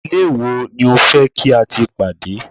ilé wo ni o fe ki a ti pade